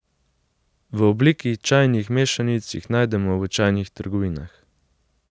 V obliki čajnih mešanic jih najdemo v čajnih trgovinah.